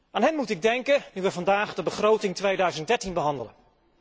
Aan hen moet ik denken nu wij vandaag de begroting 2013 behandelen.